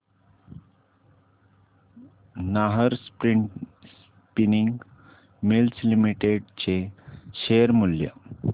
Nahar Spinning Mills Limited चे share मूल्य